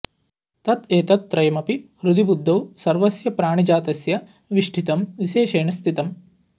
तत् एतत् त्रयमपि हृदि बुद्धौ सर्वस्य प्राणिजातस्य विष्ठितं विशेषेण स्थितम्